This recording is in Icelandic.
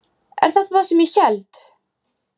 Er þetta það sem ég held?